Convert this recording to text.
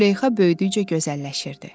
Züleyxa böyüdükcə gözəlləşirdi.